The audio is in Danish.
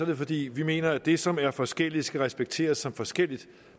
det fordi vi mener at det som er forskelligt skal respekteres som forskelligt